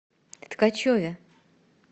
ткачеве